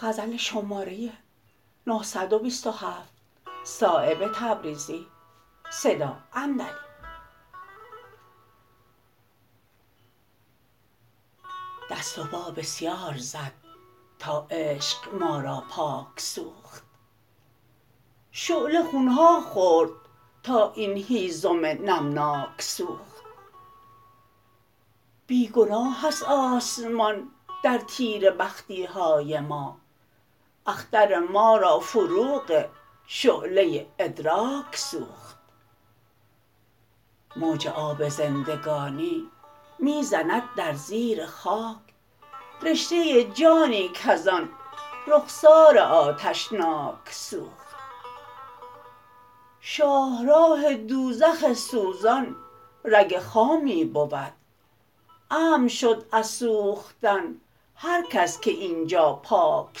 دست و پا بسیار زد تا عشق ما را پاک سوخت شعله خون ها خورد تا این هیزم نمناک سوخت بی گناه است آسمان در تیره بختی های ما اختر ما را فروغ شعله ادراک سوخت موج آب زندگانی می زند در زیر خاک رشته جانی کزان رخسار آتشناک سوخت شاهراه دوزخ سوزان رگ خامی بود امن شد از سوختن هر کس که اینجا پاک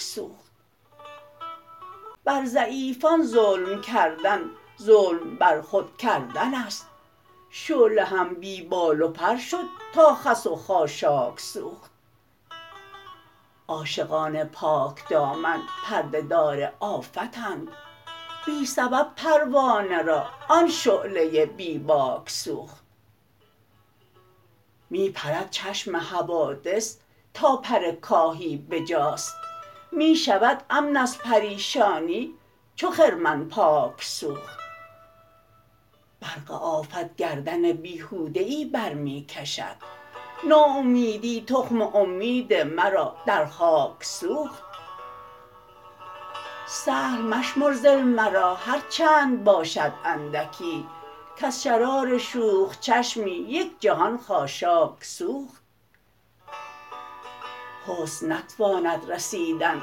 سوخت بر ضعیفان ظلم کردن ظلم بر خود کردن است شعله هم بی بال و پر شد تا خس و خاشاک سوخت عاشقان پاکدامن پرده دار آفتند بی سبب پروانه را آن شعله بی باک سوخت می پرد چشم حوادث تا پر کاهی به جاست می شود امن از پریشانی چو خرمن پاک سوخت برق آفت گردن بیهوده ای بر می کشد ناامیدی تخم امید مرا در خاک سوخت سهل مشمر ظل مرا هر چند باشد اندکی کز شرار شوخ چشمی یک جهان خاشاک سوخت حسن نتواند رسیدن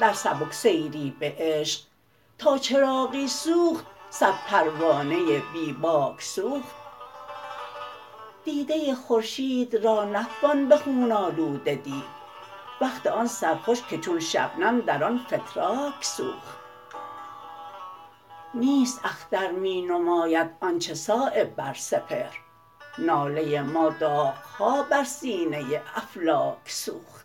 در سبکسیری به عشق تا چراغی سوخت صد پروانه بی باک سوخت دیده خورشید را نتوان به خون آلوده دید وقت آن سرخوش که چون شبنم در آن فتراک سوخت نیست اختر می نماید آنچه صایب بر سپهر ناله ما داغ ها بر سینه افلاک سوخت